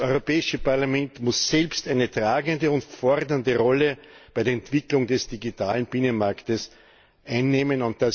Das Europäische Parlament muss selbst eine tragende und fordernde Rolle bei der Entwicklung des digitalen Binnenmarkts einnehmen.